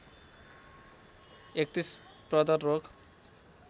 ३१ प्रदर रोग